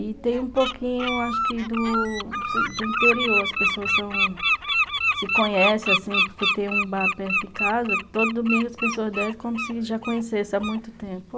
E tem um pouquinho acho que do interior, as pessoas são... se conhecem assim, porque tem um bar perto de casa, todo domingo as pessoas descem como se já conhecessem há muito tempo.